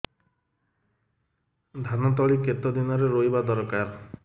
ଧାନ ତଳି କେତେ ଦିନରେ ରୋଈବା ଦରକାର